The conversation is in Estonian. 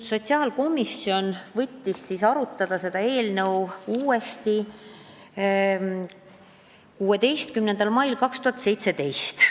Sotsiaalkomisjon arutas seda eelnõu uuesti 16. mail 2017.